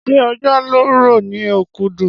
Ṣé òjò ló rọ̀ ní Okudu?